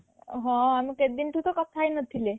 ହଁ ଆମେ କେତେଦିନ ଠୁ ତ କଥା ହେଇନଥିଲେ